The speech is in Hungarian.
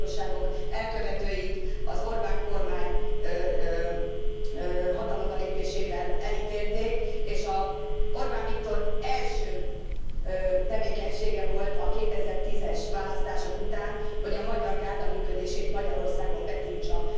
A romagyilkosságok elkövetőit az Orbán kormány hatalomra lépésével elítélték, és Orbán Viktor első tevékenysége volt a 2010 es választások után, hogy a Magyar Gárda működését Magyarországon betiltsa.